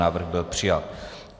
Návrh byl přijat.